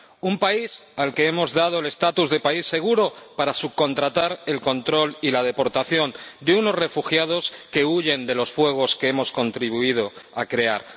un país al que hemos dado el estatus de país seguro para subcontratar el control y la deportación de unos refugiados que huyen de los fuegos que hemos contribuido a crear.